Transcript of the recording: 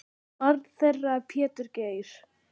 Barn þeirra er Pétur Geir.